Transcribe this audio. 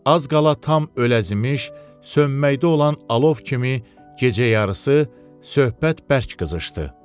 Az qala tam öləzimiş, sönməkdə olan alov kimi gecə yarısı söhbət bərk qızışdı.